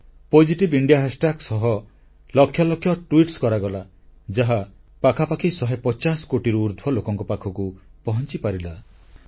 positive India hashtag ସହ ଲକ୍ଷ ଲକ୍ଷ ଟ୍ବିଟ କରାଗଲା ଯାହା ପାଖାପାଖି 150 କୋଟିରୁ ଉର୍ଦ୍ଧ୍ବ ଲୋକଙ୍କ ପାଖକୁ ପହଂଚିପାରିଲା